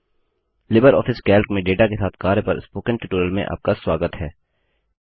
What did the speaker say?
Libre office Calc में data के साथ कार्य पर स्पोकन ट्यूटोरियल में आपका स्वागत है